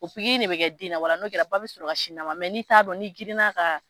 O pikiri in de bɛ kɛ den na n'o kɛra ba bɛ sɔrɔ sin d'a ma n'i t'a dɔn n'i girinna ka